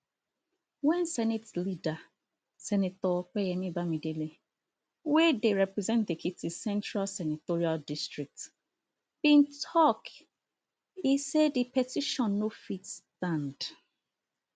wen senate leader senator opeyemi bamidele wey dey represent ekiti central senatorial district bin tok e say di petition no fit stand